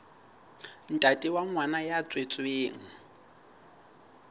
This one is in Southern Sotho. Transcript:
ntate wa ngwana ya tswetsweng